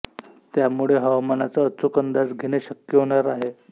त्यामुळे हवामानाचा अचूक अंदाज घेणे शक्य होणार आहे